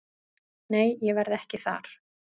Nei ég verð ekki þar.